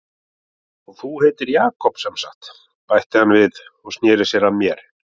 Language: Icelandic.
Og þú heitir Jakob semsagt, bætti hann við og sneri sér að mér.